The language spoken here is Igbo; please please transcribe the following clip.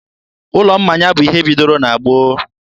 ụlọ mmanya bụ ihe bidoro na gboo.